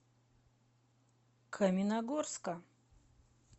каменногорска